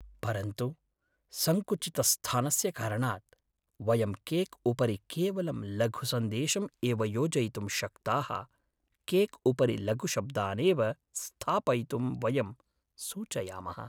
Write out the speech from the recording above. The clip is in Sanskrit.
परन्तु सङ्कुचितस्थानस्य कारणात्, वयं केक्उपरि केवलं लघुसन्देशम् एव योजयितुं शक्ताः केक्उपरि लघुशब्दानेव स्थापयितुं वयं सूचयामः।